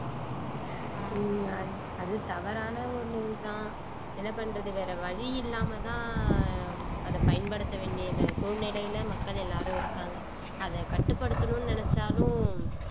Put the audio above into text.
ஆஹ் அது தவறான ஒண்ணு இதுதான் என்ன பண்றது வேற வழி இல்லாமதான் அத பயன்படுத்த வேண்டிய சூழ்நிலையில மக்கள் எல்லாரும் இருக்காங்க அத கட்டுப்படுத்தணும்னு நினைச்சாலும்